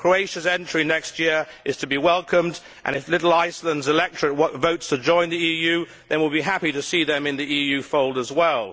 Croatia's entry next year is to be welcomed and if little Iceland's electorate votes to join the EU, then we will be happy to see them in the EU fold as well.